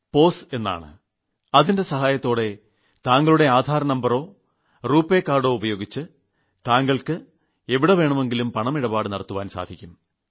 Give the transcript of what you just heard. pose അതിന്റെ സഹായത്തോടെ താങ്കളുടെ ആധാർ നമ്പറോ രൂപയ് കാർഡോ ഉപയോഗിച്ച് ആർക്കുവേണമെങ്കിലും പണം ഇടപാടു നടത്തുവാൻ സാധിക്കും